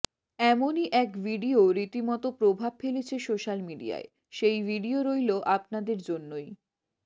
এমনই এক ভিডিও রীতিমত প্রভাব ফেলেছে সোশ্যাল মিডিয়ায় সেই ভিডিও রইল আপনাদের জন্যই